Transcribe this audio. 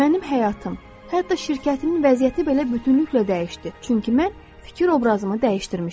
Mənim həyatım, hətta şirkətimin vəziyyəti belə bütünüklə dəyişdi, çünki mən fikir obrazımı dəyişdirmişdim.